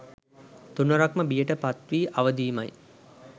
තුන්වරක්ම බියට පත් වී අවදි වීමයි